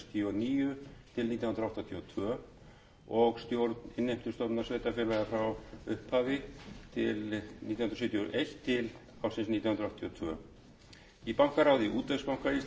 níu til nítján hundruð áttatíu og tvö og stjórn innheimtustofnunar sveitarfélaga frá upphafi nítján hundruð sjötíu og eitt til nítján hundruð áttatíu og tvö í bankaráði útvegsbanka íslands sat hann nítján hundruð sjötíu